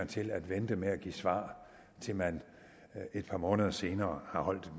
til at vente med at give svar til man et par måneder senere har holdt